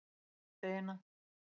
Amma átti eina.